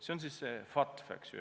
See on siis see FATF, eks ju.